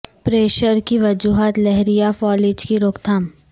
pressure کی وجوہات لہر یا فالج کی روک تھام